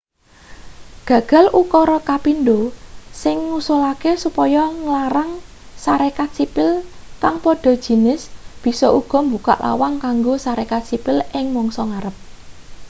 gagal ukara kapindho sing ngusulake supaya nglarang sarekat sipil kang padha jinis bisa uga mbukak lawang kanggo sarekat sipil ing mangsa ngarep